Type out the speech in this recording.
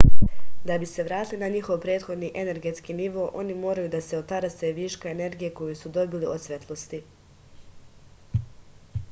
da bi se vratili na njihov prethodni energetski nivo oni moraju da se otarase viška energije koju su dobili od svetlosti